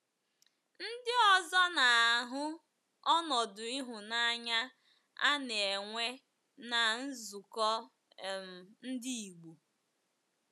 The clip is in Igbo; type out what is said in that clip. Ndị ọzọ na - ahụ ọnọdụ ịhụnanya a na - enwe ná nzukọ um Ndị Igbo.